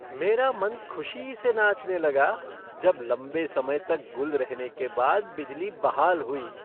मेरा मन खुशी से नाचने लगा जब लंबे समय तक गुल रहने के बाद बिजली बहाल हुई।